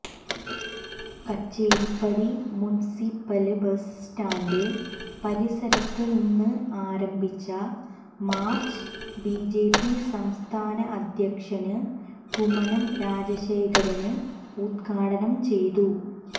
Kacheripadi municipal bus stand പരിസരത്ത് നിന്ന് ആരംഭിച്ച മാര്ച്ച് ബിജെപി സംസ്ഥാന അദ്ധ്യക്ഷന് കുമ്മനം രാജശേഖരന് ഉദ്ഘാടനം ചെയ്തു